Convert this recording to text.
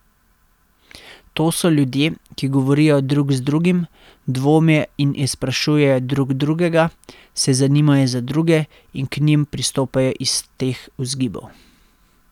To so ljudje, ki govorijo drug z drugim, dvomijo in izprašujejo drug drugega, se zanimajo za druge in k njim pristopajo iz teh vzgibov.